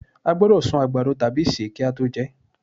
a gbódò sún àgbàdo tabi se ki a to jẹ